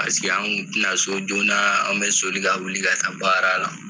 Paseke an kun te na so joona an be soli ka wuli ka baara la